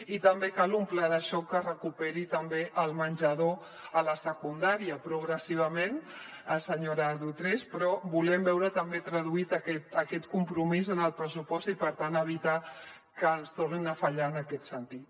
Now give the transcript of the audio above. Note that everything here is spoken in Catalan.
i també cal un pla de xoc que recuperi també el menjador a la secundària progressivament senyora driouech però volem veure també traduït aquest compromís en el pressupost i per tant evitar que ens tornin a fallar en aquest sentit